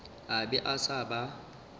a be a sa ba